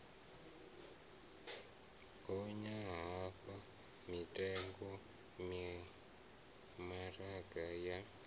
gonya ha mitengo mimaraga ya